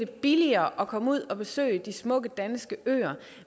billigere at komme ud og besøge de smukke danske øer